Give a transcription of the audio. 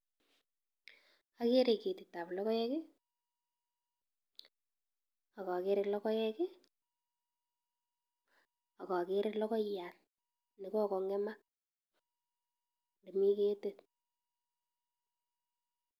Agere ketitab logoek, ak agere logoek, ak agere logoiyat ne kogong'emak nemi ketit.